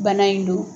Bana in don